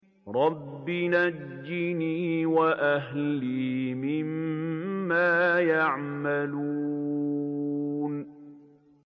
رَبِّ نَجِّنِي وَأَهْلِي مِمَّا يَعْمَلُونَ